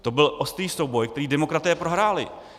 To byl ostrý souboj, který demokraté prohráli.